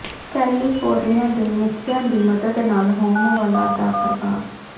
California ਦੇ ਮੁੱਖੀਆਂ ਦੀ ਮਦਦ ਨਾਲ ਹੋਮ ਵਾਲਾਂ ਦਾ ਪ੍ਰਭਾਵ